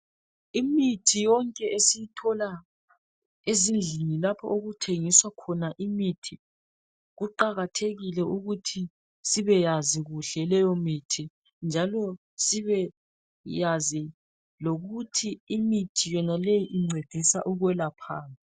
Imithi yonke esiyithola ezindlini lapho okuthengiswa khona imithi . Kuqakathekile ukuthi sibeyazi kuhle leyomithi njalo sibeyazi lokuthi imithi yonaleyo uncedisa ukwelaphani.